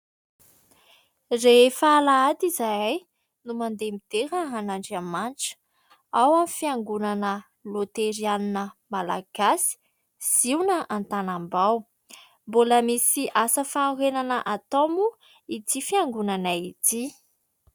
Rehefa Alahady izahay no mandeha midera an'Andriamanitra ao amin'ny Fiangonana Loterana Malagasy Ziona Antanambao. Mbola misy asa fanorenana atao moa ity fiangonana ity.